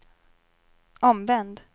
omvänd